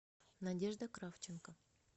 надежда кравченко